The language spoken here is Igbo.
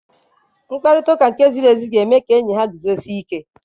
Mkparịta ụka nke ziri ezi ga-eme ka enyi ha guzosie ike.